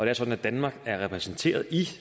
er sådan at danmark er repræsenteret i